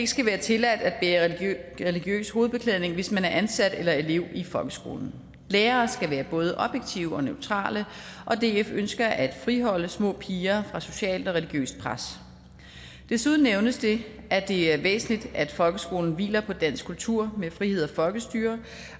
skal være tilladt at bære religiøs hovedbeklædning hvis man er ansat eller er elev i folkeskolen lærere skal være både objektive og neutrale og df ønsker at friholde små piger fra socialt og religiøst pres desuden nævnes det at det er væsentligt at folkeskolen hviler på dansk kultur med frihed og folkestyre